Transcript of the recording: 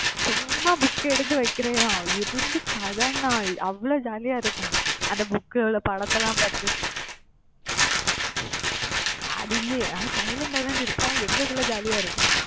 சும்மா book எடுத்து வைக்கிறதுதான் இருந்து, கதைன்னா, அவ்ளோ ஜாலியா இருக்கும் அந்த book உள்ள படத்துலாம் பாத்து அது இங்க அஹ் silent ஆ தான் டி இருப்போம் ஆனா எங்கக்குள்ள jolly யா இருக்கும்